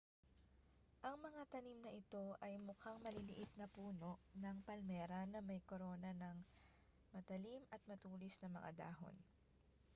ang mga tanim na ito ay mukhang maliliit na puno ng palmera na may korona ng matalim at matulis na mga dahon